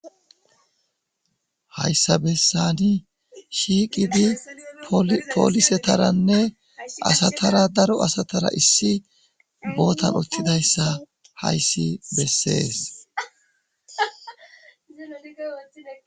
hayssa bessani shiiqidi poolisetaranne asatara daro asatara issi bootan uttidayssa hayssi bessees